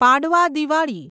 પાડવા દિવાળી